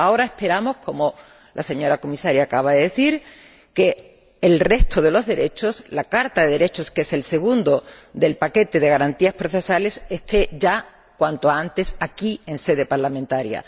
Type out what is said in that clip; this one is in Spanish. Ahora esperamos, como la señora Comisaria acaba de decir, que el resto de los derechos, la Carta de Derechos, que es el segundo del paquete de garantías procesales, esté ya cuanto antes aquí, en sede parlamentaria.